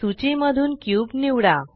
सूची मधून क्यूब निवडा